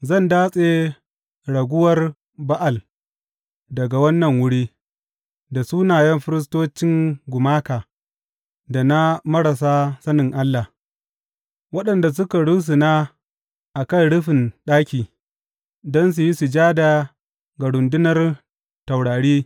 Zan datse raguwar Ba’al daga wannan wuri, da sunayen firistocin gumaka da na marasa sanin Allah, waɗanda suka rusuna a kan rufin ɗaki don su yi sujada ga rundunar taurari.